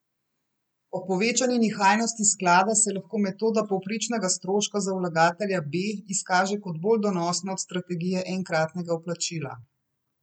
Ob povečani nihajnosti sklada se lahko metoda povprečnega stroška za vlagatelja B izkaže kot bolj donosna od strategije enkratnega vplačila.